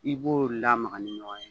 I b'o lamaga ni ɲɔgɔn ye